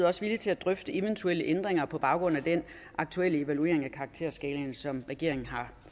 også villige til at drøfte eventuelle ændringer på baggrund af den aktuelle evaluering af karakterskalaen som regeringen har